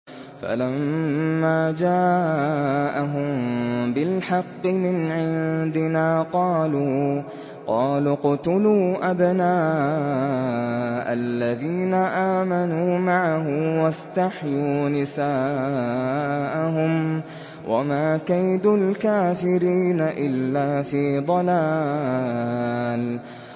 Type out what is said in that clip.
فَلَمَّا جَاءَهُم بِالْحَقِّ مِنْ عِندِنَا قَالُوا اقْتُلُوا أَبْنَاءَ الَّذِينَ آمَنُوا مَعَهُ وَاسْتَحْيُوا نِسَاءَهُمْ ۚ وَمَا كَيْدُ الْكَافِرِينَ إِلَّا فِي ضَلَالٍ